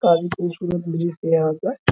काफी खूबसूरत जींस है यहाँ पर --